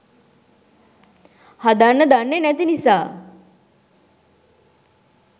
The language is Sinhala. හදන්න දන්නෙ නැති නිසා.